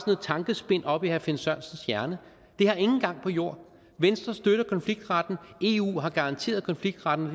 tankespind oppe i herre finn sørensens hjerne det har ingen gang på jord venstre støtter konfliktretten eu har garanteret konfliktretten